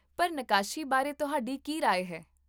ਪਰ, ਨੱਕਾਸ਼ੀ ਬਾਰੇ ਤੁਹਾਡੀ ਕੀ ਰਾਏ ਹੈ?